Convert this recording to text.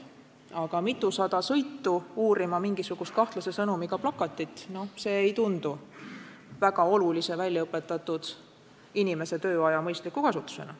Aga teha mitusada sõitu uurima mingisugust kahtlase sõnumiga plakatit – see ei tundu väga olulise väljaõpetatud inimese tööaja mõistliku kasutusena.